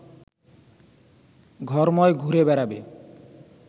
ঘরময় ঘুরে বেড়াবে